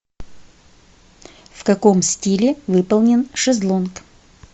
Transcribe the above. в каком стиле выполнен шезлонг